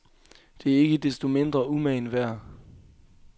Det er ikke desto mindre umagen værd.